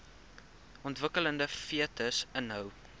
ontwikkelende fetus inhou